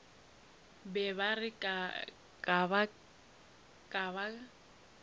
be ba re ge ba